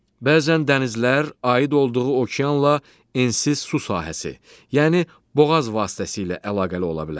Bəzən dənizlər aid olduğu okeanla ensiz su sahəsi, yəni boğaz vasitəsilə əlaqəli ola bilər.